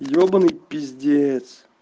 ебаный пиздец